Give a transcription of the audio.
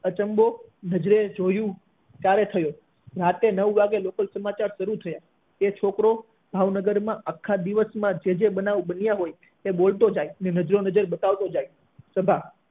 અચંબો નજરે જોયું ત્યારે થયો રાત્રે નવ વાગ્યે લોકલ સમાચાર શરૂ થયા અને એ છોકરો ભાવનગર માં આખા દિવસ માં જે જે બનાવ બન્યા હોય તે બોલતો જાય નજરો નજર બતાવતો જાય સભા